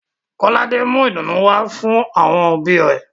Kolade mú ìdunu wá fún àwọn òbí rẹ̀